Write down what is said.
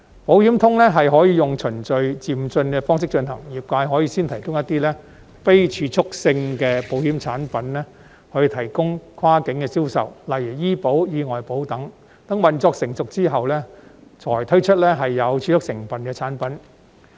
"保險通"可以用循序漸進的方式進行，業界可以先提供一些非儲蓄性的保險產品作跨境銷售，例如醫保、意外保等，待運作成熟後才推出具儲蓄成分的產品。